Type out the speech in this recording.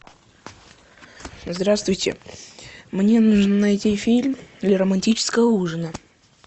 здравствуйте мне нужно найти фильм для романтического ужина